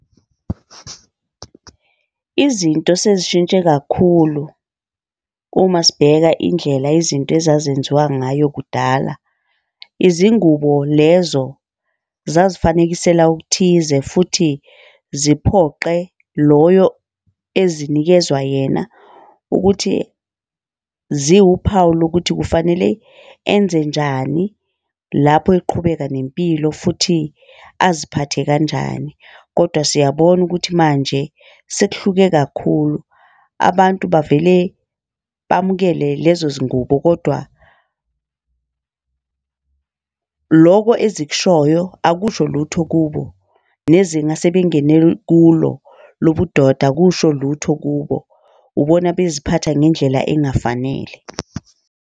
Izinto sezishintshe kakhulu uma sibheka indlela izinto ezazenziwa ngayo kudala. Izingubo lezo zazifanekisela okuthize, futhi ziphoqe loyo ezinikezwa yena ukuthi ziwuphawu lokuthi kufanele enzenjani lapho liqhubeka nempilo futhi aziphathe kanjani. Kodwa siyabona ukuthi manje sekuhlukile kakhulu. Abantu bavele bamukele lezo zingubo kodwa loko ezikushoyo akusho lutho kubo nezinga sebengene kulo lobudoda akusho lutho kubo. Ubona beziphatha ngendlela engafanele.